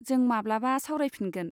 जों माब्लाबा सावरायफिनगोन।